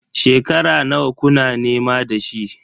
Shekara nawa kuna nema da shi?